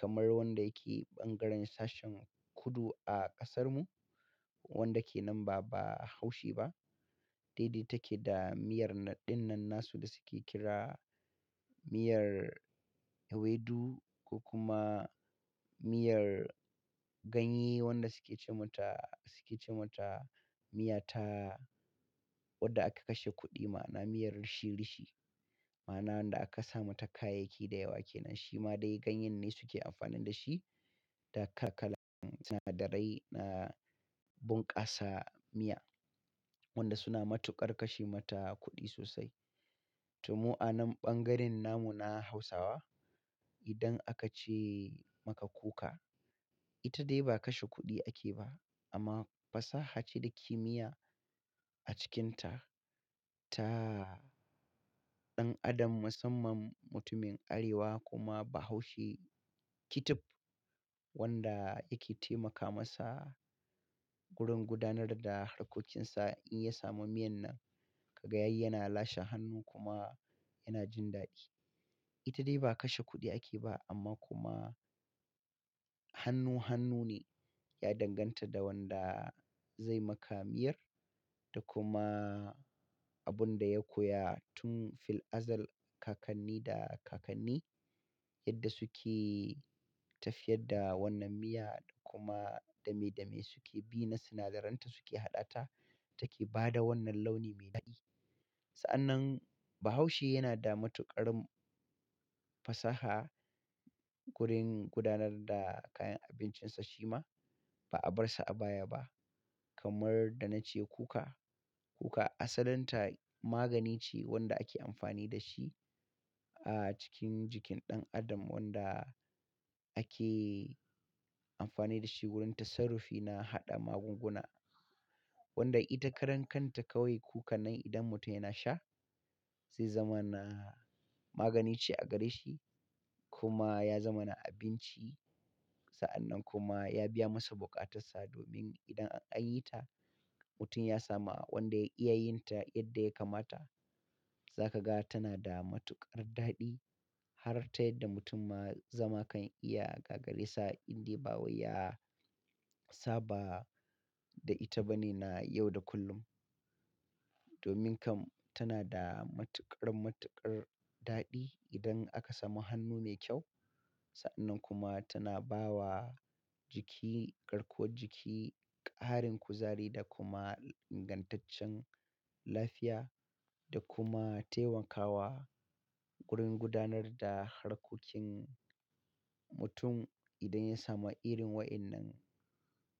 kamar wanda yake ɓangaren sashen kudu a ƙasarmu, wanda ke nan ba Bahaushe ba. Daidai take da miyar ɗin nan nasu da suke kira miyar ewedu ko kuma miyar ganye wanda suke ce mata, suke ce mata miya ta wadda aka kashe kuɗi ma'ana miyar rishi-rishi. Ma'ana wanda aka samu ta kayayyaki da yawa kenan. Shi ma dai ganye ne suke amfani da shi da kakalan sinadarai na bunƙasa miya wanda suna matuƙar kashe mata kuɗi sosai. To mu anan ɓangaren namu na Hausawa, idan aka ce maka kuka, ita dai ba kashe kuɗi ake ba amma fasaha ce da kimiyya a cikinta ta ɗan adam, musamman mutumin Arewa kuma Bahaushe kitif wanda yake taimaka masa gurin gudanar da harkokinsa. In ya samu miyan nan, ka ga yayi yana lashe hannu kuma yana jin daɗi. Ita dai ba kashe kuɗi ake ba amma kuma hannu-hannu ne ya danganta da wanda zai maka miyar da kuma abun da ya koya tun fil azal kakanni da kakanni. Yadda suke tafiyar da wannan miya kuma dame dame suke bi na sinadaranta suke hada ta, take bada wannan launi me dadi, sa'annan bahaushe yana da matukar fasaha gurin gudanar da kayan abincinsa shi ma ba'a bar sa a baya ba. Kamar da na ce kuka, kuka asalin ta magani ce wanda ake amfani da shi a cikin jikin ɗan adam wanda ake amfani da shi wurin tassarufi na haɗa magunguna. Wanda ita karan kanta kawai kukan nan idan mutum yana sha, zai zama na magani ce a gare shi kuma ya zama na abinci. Sa'an nan kuma ya biya masa buƙatarsa domin idan an yi ta, mutum ya samu wanda ya iya yin ta yadda ya kamata, za ka ga tana da matuƙar daɗi har ta yadda mutum ma zama kan iya gagare sa indai ba waya saba da ita ba ne na yau da kullum. Domin kam tana da matuƙar-matuƙar daɗi idan aka samu hannu ne kyau. Sa'an nan kuma tana ba wa jiki garkuwar jiki, ƙarin kuzari da kuma ingantaccen lafiya da kuma taimakawa wurin gudanar da harkokin mutum idan ya samu irin wayannan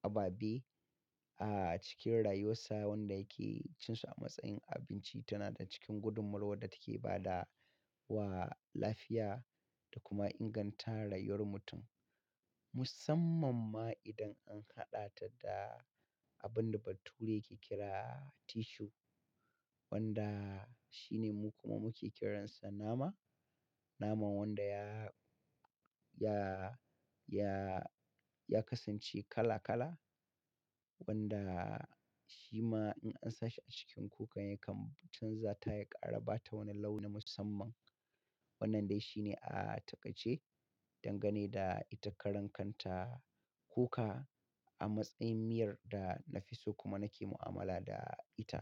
ababe a cikin rayuwar sa. Wanda yake cin sa a matsayin abinci tana da cikin gudunmawar da take ba da wa lafiya da kuma inganta rayuwar mutum. Musamman ma idan an hada ta abinda bature yake kira tissue wanda shi kuma muke kiransa nama. Naman wanda ya, ya, ya, ya kasance kala-kala wanda shi ma in an sa shi a cikin kukan yakan canza ta, ya ƙara ba ta wani launi musamman. Wannan dai shi ne a taƙaice dangane da ita karan kanta kuka a matsayin miyar da na fi so kuma nake mu'amala da ita.